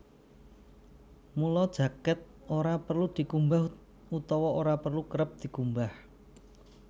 Mula jakèt ora perlu dikumbah utawa ora perlu kerep dikumbah